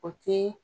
O te